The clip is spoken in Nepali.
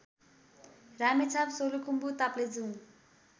रामेछाप सोलुखुम्बु ताप्लेजुङ